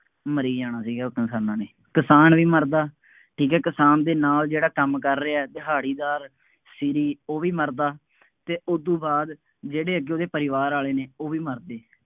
ਮਰੀ ਜਾਣਾ ਸੀਗਾ ਉਹ ਕਿਸਾਨਾਂ ਨੇ, ਕਿਸਾਨ ਵੀ ਮਰਦਾ, ਠੀਕ ਹੈ, ਕਿਸਾਨ ਦੇ ਨਾਲ ਜਿਹੜਾ ਕੰਮ ਕਰ ਰਿਹਾ, ਦਿਹਾੜੀਦਾਰ, ਸ਼ੀਰੀ ਉਹ ਵੀ ਮਰਦਾ ਅਤੇ ਉਦੋਂ ਬਾਅਦ ਜਿਹੜੇ ਅੱਗੇ ਉਹਦੇ ਪਰਿਵਾਰ ਵਾਲੇ ਨੇ ਉਹ ਵੀ ਮਰਦੇ।